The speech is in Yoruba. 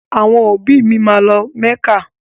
Àwọn òbí mi a lọ mẹ́kà